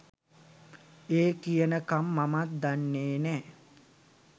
ඒ කියනකම් මමත් දන්නේ නෑ.